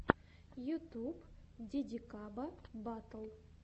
ютюб дидикаба батл